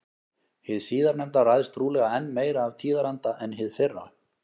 Hið síðarnefnda ræðst trúlega enn meira af tíðaranda en hið fyrra.